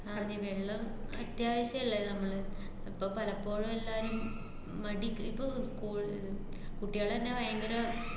ആ ഡി വെള്ളം അത്യാവശ്യല്ലല്ലൊ നമ്മൾ, ഇപ്പ പലപ്പോഴും എല്ലാരും മടിക്ക്~ ഇപ്പ കോ~ ഏർ കുട്ടികളെത്തന്നെ ഭയങ്കര